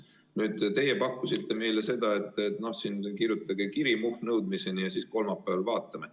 Nüüd, teie pakkusite meile seda, et kirjutage kiri "Muhv, nõudmiseni" ja kolmapäeval vaatame.